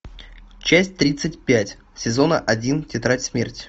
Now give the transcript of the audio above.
часть тридцать пять сезона один тетрадь смерти